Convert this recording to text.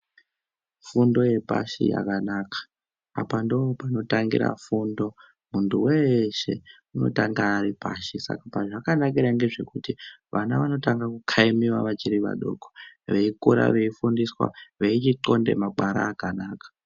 Fundo yepashi yakanaka. Apa ndopanotangira fundo. Muntu weshe, unotanga aripashi, saka zvazvakanakira ngezvekuti vana vanotanga kukhayimiwa vachiri vadoko, veyikura veyifundiswa, vechixonde magwara akanaka.